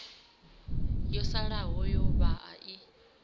yo salaho ya vhaa i